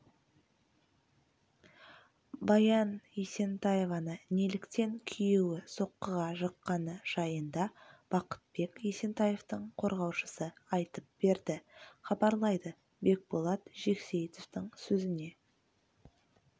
баян есентаеваны неліктен күйеуі соққыға жыққаны жайында бақытбек есентаевтың қорғаушысы айтып берді хабарлайды бекболат жексейітовтің сөзіне